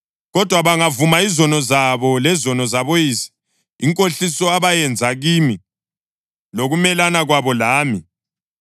Kodwa bangavuma izono zabo lezono zaboyise, inkohliso abayenza kimi, lokumelana kwabo lami,